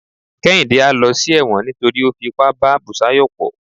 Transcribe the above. kehinde a ló sí ẹwọ́n nítorí o fí ipá bá busayo po